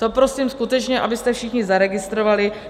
To prosím skutečně, abyste všichni zaregistrovali.